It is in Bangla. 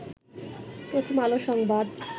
প্রথম আলো সংবাদ